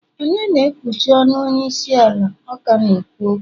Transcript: Onye na ekwuchi ọnu onye isi ala ọ ka na-ekwu okwu?